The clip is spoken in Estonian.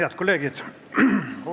Head kolleegid!